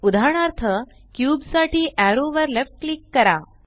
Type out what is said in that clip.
उदाहरणार्थ क्यूब साठी एरो वर लेफ्ट क्लिक करा